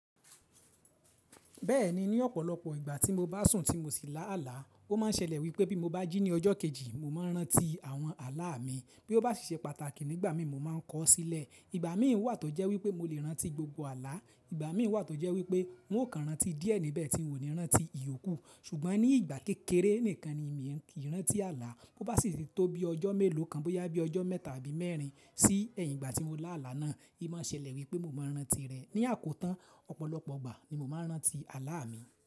Bẹ́ẹ̀ni, ní ọ̀pọ̀lọpọ̀ ìgbà tí mo bá sùn tí mo sì lá àlá, ó máa ń ṣẹlẹ̀ wípé bí mo bá jí ní ọjọ́ kejì, mo máa ń rántí àwọn ààlà mi bí ó bá sì ṣe pàtàkì nígbà mí mo máa ń kọ̀ ọ́ sílẹ̀. Ìgbà mí wà tó jẹ́ wípé mo lè rántí gbogbo ààlà, ìgbà mí wà tó jẹ́ wípé n ó kan rántí díẹ̀ níbẹ̀ tí n ò ní rántí ìyókù. Ṣùgbọ́n ní ìgbà kékeré nìkan ni mí ki rántí ààlà, bó bá sì tó bí ọjọ́ mélòó kan bó yá bí ọjọ́ mẹ́ta àbí mẹ́rin sí ẹ̀yìn ìgbà tí mo lá àlá náà, í máa ń ṣẹlẹ̀ wípé mo máa ń rántí rẹ̀. Ní àkótán, ọ̀pọ̀lọpọ̀ ìgbà ni mo máa ń rántí ààlà mi.